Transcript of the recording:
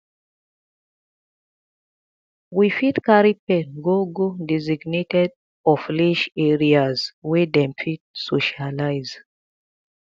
we fit carry pet go go designated offleash areas wey dem fit socialize